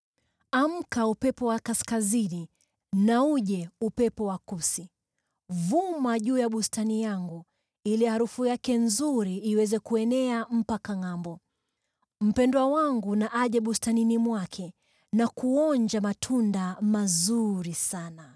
Amka, upepo wa kaskazini, na uje, upepo wa kusini! Vuma juu ya bustani yangu, ili harufu yake nzuri iweze kuenea mpaka ngʼambo. Mpendwa wangu na aje bustanini mwake na kuonja matunda mazuri sana.